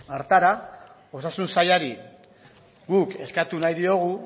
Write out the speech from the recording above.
osasun sailari guk eskatu nahi diogu